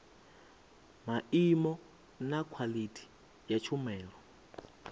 maimo na khwaḽithi ya tshumelo